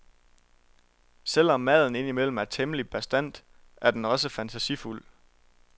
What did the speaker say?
Selvom maden ind imellem er temmelig bastant, er den også fantasifuld.